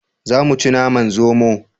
Za mu ci naman zomo